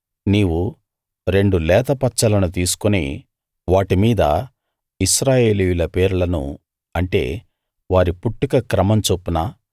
నీవు రెండు లేత పచ్చలను తీసుకుని వాటి మీద ఇశ్రాయేలీయుల పేర్లను అంటే వారి పుట్టుక క్రమం చొప్పున